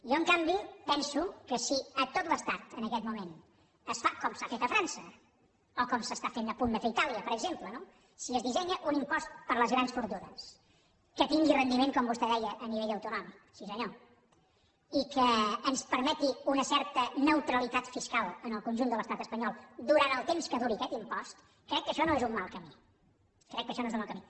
jo en canvi penso que si a tot l’estat en aquest moment es fa com s’ha fet a frança o com s’està a punt de fer a itàlia per exemple no si es dissenya un impost per a les grans fortunes que tingui rendiment com vostè deia a nivell autonòmic sí senyor i que ens permeti una certa neutralitat fiscal en el conjunt de l’estat espanyol durant el temps que duri aquest impost crec que això no és un mal camí crec que això no és un mal camí